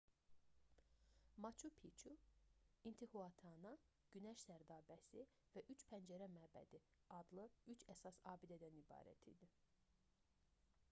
maçu piçu i̇ntihuatana günəş sərdabəsi və üç pəncərə məbədi adlı 3 əsas abidədən ibarət idi